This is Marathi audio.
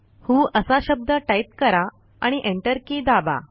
व्हो असा शब्द टाईप करा आणि एंटर की दाबा